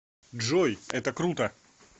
джой это круто